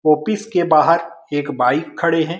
Office के बहार एक बाइक खड़े हैं।